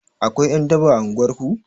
Akwai ƴan daba a unguwar ku?